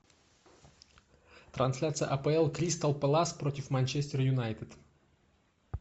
трансляция апл кристал пэлас против манчестер юнайтед